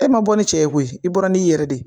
E ma bɔ ni cɛ ye koyi i bɔra n'i yɛrɛ de ye